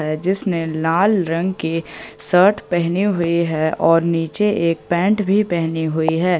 जिसने लाल रंग की शर्ट पहनी हुई है और नीचे एक पेंट भी पहनी हुई है।